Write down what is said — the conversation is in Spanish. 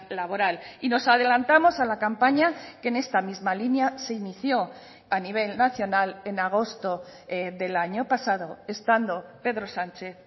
laboral y nos adelantamos a la campaña que en esta misma línea se inició a nivel nacional en agosto del año pasado estando pedro sánchez